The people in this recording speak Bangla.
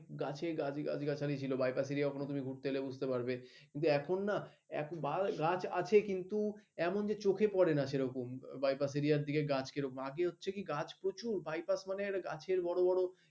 গাছ গাছালি ছিল বাইপাস এরিয়া হলে কিন্তু এখন না গাছ আছে কিন্তু এমন যে চোখে পড়ে না সেরকম বাইপাস এরিয়ার দিকে গাছ কি রকম গাছ প্রচুর বাইপাস মানে তাকে বড় বড়